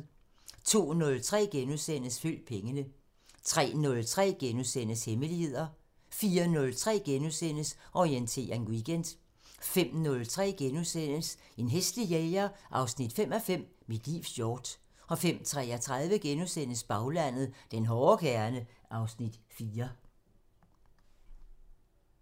02:03: Følg pengene * 03:03: Hemmeligheder * 04:03: Orientering Weekend * 05:03: En hæslig jæger 5:5 – Mit livs hjort * 05:33: Baglandet: Den hårde kerne (Afs. 4)*